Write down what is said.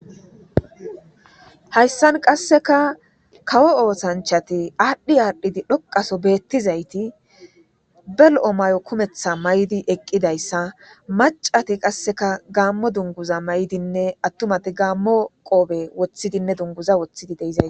Hayssan qasekka kawo oosanchchatti adhi adhidi dhoqaso bettizaytti be lo'o mayo kumeththa mayidi eqidayssa macatti qasekka gamo dunguza mayidinne atumatti gamo qoppe woykko dunguza woththidi de'esossonna